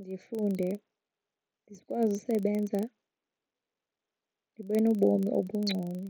Ndifunde ndikwazi usebenza, ndibe nobomi obungcono.